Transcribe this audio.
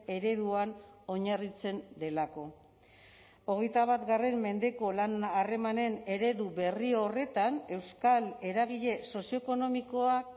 ereduan oinarritzen delako hogeita bat mendeko lan harremanen eredu berri horretan euskal eragile sozioekonomikoak